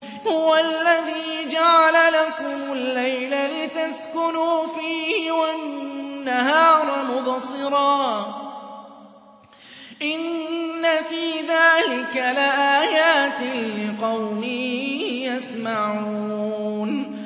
هُوَ الَّذِي جَعَلَ لَكُمُ اللَّيْلَ لِتَسْكُنُوا فِيهِ وَالنَّهَارَ مُبْصِرًا ۚ إِنَّ فِي ذَٰلِكَ لَآيَاتٍ لِّقَوْمٍ يَسْمَعُونَ